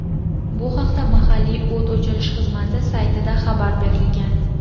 Bu haqda mahalliy o‘t o‘chirish xizmati saytida xabar berilgan.